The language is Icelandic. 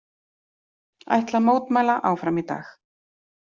Ætla að mótmæla áfram í dag